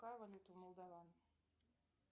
какая валюта у молдован